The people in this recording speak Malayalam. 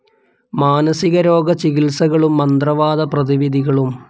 മാനസികരോഗ ചികിത്സകളും. മന്ത്രവാദ പ്രതിവിധികളും